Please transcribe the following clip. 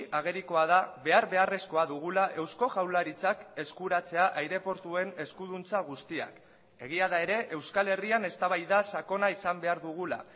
agerikoa da behar beharrezkoa dugula eusko jaurlaritzak eskuratzea aireportuen eskuduntza guztiak egia da ere euskal herrian eztabaida sakona izan behar dugula